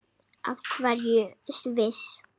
Af hverju Sviss?